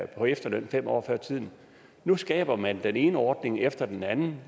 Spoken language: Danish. på efterløn fem år før tiden nu skaber man den ene ordning efter den anden